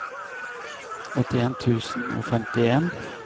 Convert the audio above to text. åttien tusen og femtien